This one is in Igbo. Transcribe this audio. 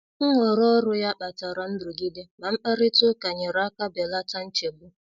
Nhọrọ ọrụ ya kpatara nrụgide, ma mkparịta ụka nyere aka belata nchegbu.